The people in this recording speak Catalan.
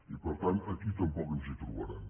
i per tant aquí tampoc ens hi trobaran